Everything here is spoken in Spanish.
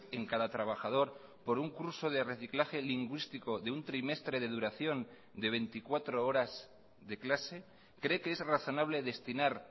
en cada trabajador por un curso de reciclaje lingüístico de un trimestre de duración de veinticuatro horas de clase cree qué es razonable destinar